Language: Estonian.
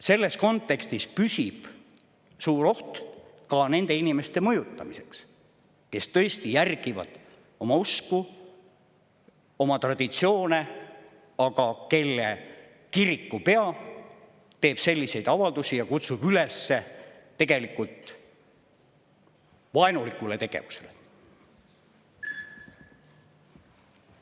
Selles kontekstis püsib suur oht ka nende inimeste mõjutamiseks, kes tõesti järgivad oma usku, oma traditsioone, aga kelle kirikupea teeb selliseid avaldusi ja kutsub üles tegelikult vaenulikule tegevusele.